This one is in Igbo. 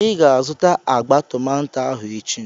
I ga-azụta agba tomato ahụ echi.